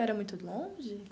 Era muito longe?